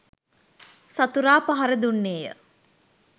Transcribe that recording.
සතුරා පහර දුන්නේය